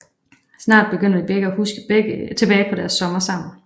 Snart begynder de begge at huske tilbage på deres sommer sammen